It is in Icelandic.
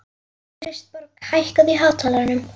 Kristborg, hækkaðu í hátalaranum.